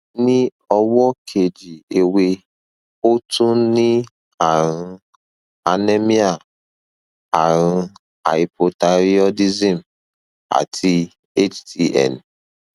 ní ọwọ kejì ẹwẹ ó tún ní ààrùn anemia ààrùn hypothyroidism àti htn